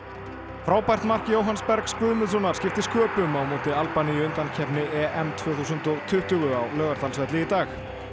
frábært mark Jóhanns Bergs Guðmundssonar skipti sköpum á móti Albaníu í undankeppni EM tvö þúsund og tuttugu á Laugardalsvelli í dag